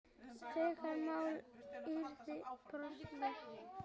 Lögmál yrði brotið.